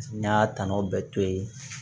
N y'a tɔnɔ bɛɛ to yen